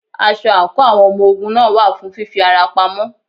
Aṣọ àǹkóò àwọn ọmọ ogun náà wà fún fí fi ara pamọ́.